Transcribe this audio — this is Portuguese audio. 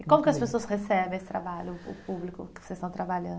E como que as pessoas recebem esse trabalho, o público que vocês estão trabalhando?